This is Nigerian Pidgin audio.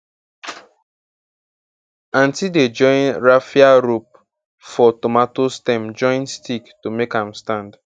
aunty dey tie raffia rope for um tomato stem join stick to make am um stand